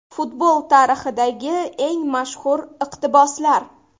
Futbol tarixidagi eng mashhur iqtiboslar.